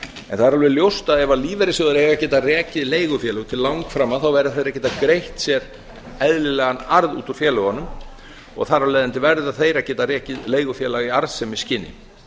en það er alveg ljóst að ef lífeyrissjóðir eiga að geta rekið leigufélög til langframa verða þeir að geta greitt sér eðlilegan arð út úr félögunum og þar af leiðandi verða þeir að geta rekið leigufélag í arðsemisskyni